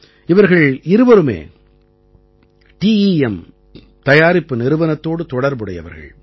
இவர்கள் இருவரும் டெம் தயாரிப்பு நிறுவனத்தோடு தொடர்புடையவர்கள்